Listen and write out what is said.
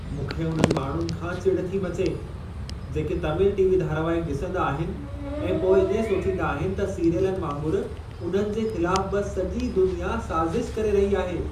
मूंखे उन्हनि माण्हुनि खां चिड़ थी मचे, जेके तमिल टी.वी. धारावाहिक ॾिसंदा आहिनि ऐं पोइ इएं सोचींदा आहिनि त सीरियलनि वांगुरु उन्हनि जे ख़िलाफ़ बि सॼी दुनिया साज़िश करे रही आहे।